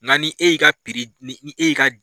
N'an ni e y'i ka ni e y'i ka